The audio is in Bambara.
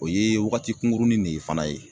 O ye wagati kunkurunin de ye fana ye.